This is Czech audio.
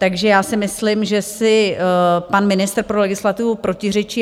Takže já si myslím, že si pan ministr pro legislativu protiřečí.